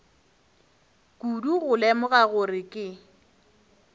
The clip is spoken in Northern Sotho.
kudu go lemoga gore ke